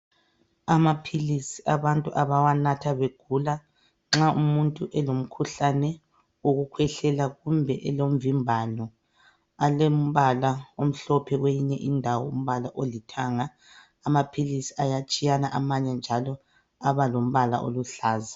Amaphilisi abantu abawanatha begula, Nxa umuntu elomkhuhlane wokukhwehlela kumbe elomvimbano. Alembala omhlophe kwenye indawo, umbala olithanga,.Amaphilisi ayatshiyana. Amanye njalo, aba lombala oluhlaza.